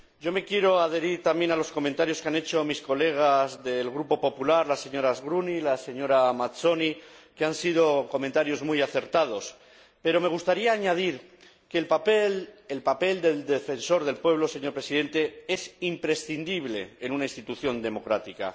Me quiero adherir, también, a los comentarios que han hecho mis colegas del Grupo Popular, la señora Gruny y la señora Mazzoni, que han sido comentarios muy acertados, pero me gustaría añadir que el papel del Defensor del Pueblo, señor Presidente, es imprescindible en una institución democrática.